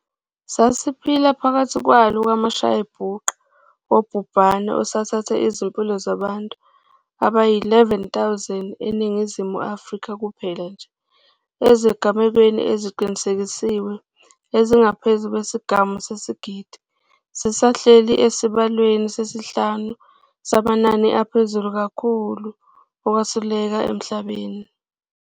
Sisaphila phakathi kwalo mashayabhuqe wobhubhane osuthathe izimpilo zabantu abayizi-11 000 eNingizimu Afrika kuphela nje. Ezigamekweni eziqinisekisiwe ezingaphezu kwesigamu sesigidi, sisahleli esibalweni sesihlanu samanani aphezulu kakhulu okwesuleleka emhlabeni.